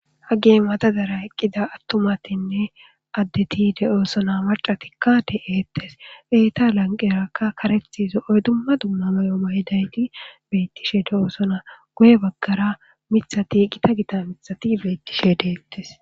haggey matadara eqqida attumatinne addeti de7oosona macatikka de7eettes eeta lanqerakka karethi zo7oy dumma dumma may7o mayidayti beettishe de7oosona guye baggara mithati gita gita mithati beettishe de7ettes